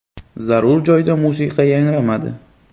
Zarur joyda musiqa yangramadi.